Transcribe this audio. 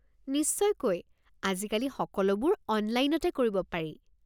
নিশ্চয়কৈ! আজিকালি সকলোবোৰ অনলাইনতেই কৰিব পাৰি।